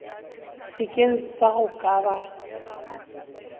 sekeng sa go ka ba